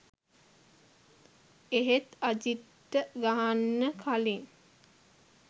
එහෙත් අජිත්ට ගහන්න කළින්